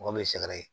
Mɔgɔ min ye sɛgɛrɛ ye